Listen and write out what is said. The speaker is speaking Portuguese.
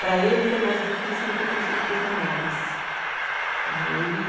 Para ele foi mais difícil do que para os ou, para os menores, né. Ele